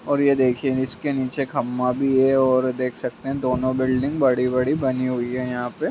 और ये देखिए इसके नीचे खंभा भी है और देख सकते है दोनों बिल्डिंग बड़ी-बड़ी बनी हुई है यहां पे।